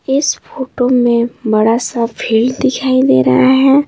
इस फोटो में बड़ा सा फेल दिखाई दे रहा है।